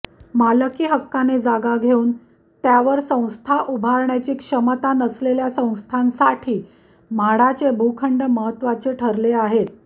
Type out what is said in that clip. मालकी हक्काने जागा घेऊन त्यावर संस्था उभारण्याची क्षमता नसलेल्या संस्थांसाठी म्हाडाचे भूखंड महत्त्वाचे ठरले आहेत